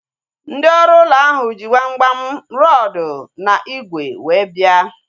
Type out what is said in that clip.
Ndị ọrụ ụlọ ahu ji gbamgbam, rọdu na ígwè wee bia